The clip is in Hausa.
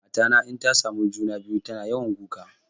Mata na inta samu juna-biyu tana yawan kuka.